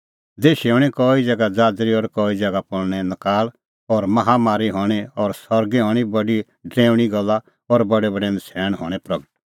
देशै हणीं कई ज़ैगा ज़ाज़री और कई ज़ैगा पल़णै नकाल़ और माहा मरी हणीं और सरगै हणीं बडी डरैऊणीं गल्ला और बडैबडै नछ़ैण हणैं प्रगट